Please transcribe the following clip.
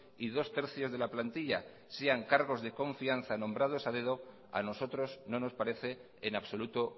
y dos tercios de la plantilla sean cargos de confianza nombrados a dedo a nosotros no nos parece en absoluto